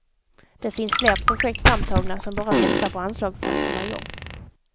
Det finns fler projekt framtagna, som bara väntar på anslag för att komma igång.